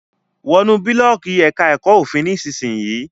Wọnú Búlọ̀ọ́ọ̀kì èka èko òfin nísìsiyìí!